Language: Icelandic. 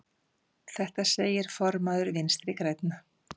Þetta segir formaður Vinstri grænna.